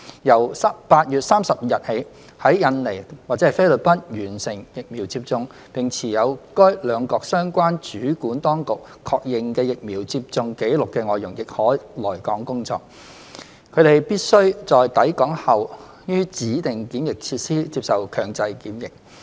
由8月30日起，在印尼或菲律賓完成疫苗接種、並持有由該兩國相關主管當局確認的疫苗接種紀錄的外傭亦可來港工作，他/她們必須在抵港後於指定檢疫設施接受強制檢疫。